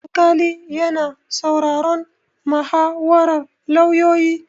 Alƙali yana sauraron muhawarar lauyoyi.